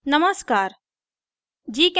नमस्कार